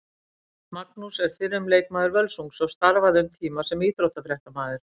Magnús er fyrrum leikmaður Völsungs og starfaði um tíma sem íþróttafréttamaður.